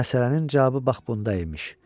Məsələnin cavabı bax bunda imiş.